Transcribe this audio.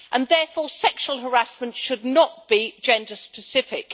Therefore, sexual harassment should not be gender specific.